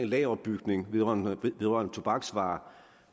lageropbygning vedrørende tobaksvarer